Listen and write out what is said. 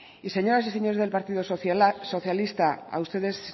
y señoras y señores del partido socialista a ustedes